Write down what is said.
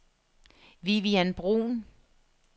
Vivian Bruhn